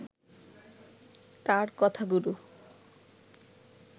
তার কথাগুলো